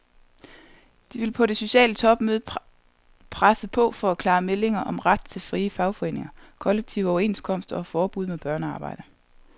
De vil på det sociale topmøde presse på for klare meldinger om ret til frie fagforeninger, kollektive overenskomster og forbud mod børnearbejde.